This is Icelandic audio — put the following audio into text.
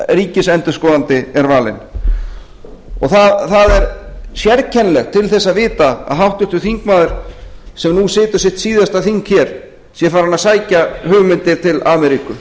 ríkisendurskoðandi er valinn það er sérkennilegt til þess að vita að háttvirtur þingmaður sem nú situr sitt síðasta þing hér sé farinn að sækja hugmyndir til ameríku